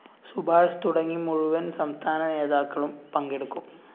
സുഭാഷ് തുടങ്ങി മുഴുവന്‍ സംസ്ഥാന നേതാക്കളും പങ്കെടുക്കും